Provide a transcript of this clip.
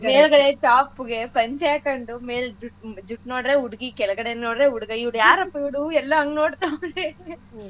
ಮೇಲ್ಗಡೆ top ಗೆ ಪಂಚೆ ಹಾಕ್ಕೊಂಡು ಮೇಲ್ ಜು~ ಜುಟ್ ನೋಡಿದ್ರೆ ಹುಡ್ಗಿ ಕೆಳಗಡೆ ನೋಡಿದ್ರೆ ಹುಡ್ಗ ಇವ್ರ್ಯಾರಪ್ಪಾ ಇವರೂ ಎಲ್ಲಾ ಹಂಗ್ ನೋಡ್ತವ್ರೆ .